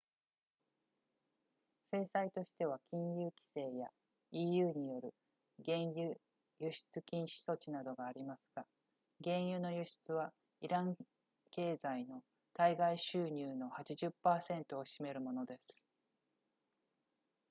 制裁としては金融規制や eu による原油輸出禁止措置などがありますが原油の輸出はイラン経済の対外収入の 80% を占めるものです